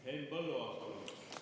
Henn Põlluaas, palun!